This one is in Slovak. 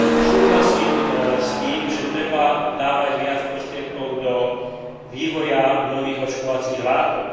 Súhlasím s tým, že treba dávať viac prostriedkov do vývoja nových očkovacích látok.